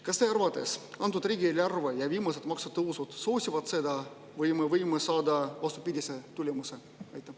Kas teie arvates antud riigieelarve ja viimased maksutõusud soosivad seda või me võime saada vastupidise tulemuse?